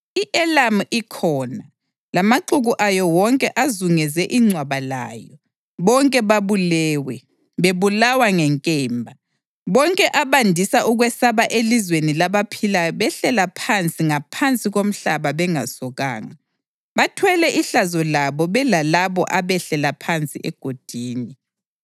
I-Elamu ikhona, lamaxuku ayo wonke azungeze ingcwaba layo. Bonke babulewe, bebulawa ngenkemba. Bonke abandisa ukwesaba elizweni labaphilayo behlela phansi ngaphansi komhlaba bengasokanga. Bathwele ihlazo labo belalabo abehlela phansi egodini.